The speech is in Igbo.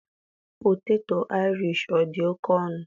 poteto Irish ọ dị oke ọnụ?